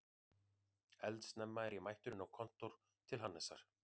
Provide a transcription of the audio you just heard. Eldsnemma er ég mættur inn á kontór til Hannesar